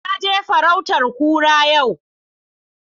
Na je farautan kura yau